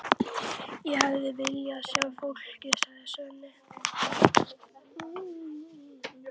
Ég hefði viljað sjá fólkið, segir Svenni og brosir.